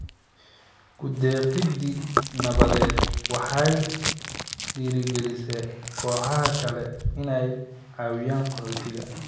Ku-deeqidda nabadeed waxay dhiirigelisaa kooxaha kale inay caawiyaan qaxootiga.